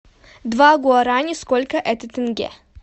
два гуарани сколько это тенге